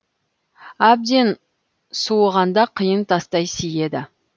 әбден суығанда қиын тастай сиеді